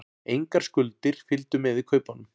Engar skuldir fylgdu með í kaupunum